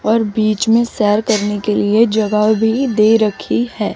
और बीच में सैर करने के लिए जगह भी दे रखी है।